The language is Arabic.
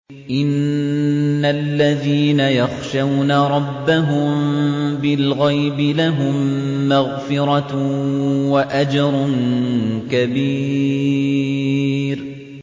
إِنَّ الَّذِينَ يَخْشَوْنَ رَبَّهُم بِالْغَيْبِ لَهُم مَّغْفِرَةٌ وَأَجْرٌ كَبِيرٌ